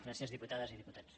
gràcies diputades i diputats